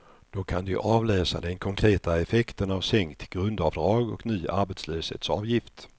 Då kan de avläsa den konkreta effekten av sänkt grundavdrag och ny arbetslöshetsavgift.